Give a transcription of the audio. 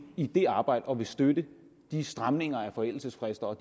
i det arbejde og vil støtte de stramninger af forældelsesfristerne og